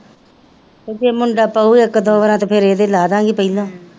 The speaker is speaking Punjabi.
ਫੇਰ ਮੁੰਡਾ ਪਾਉ ਇੱਕ ਦੋ ਬਰਾਤ ਫੇਰ ਇਹਦੇ ਲਾਦੀਗੀ ਪਹਿਲਾਂ,